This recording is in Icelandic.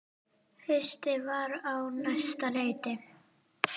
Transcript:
Haustið var á næsta leiti.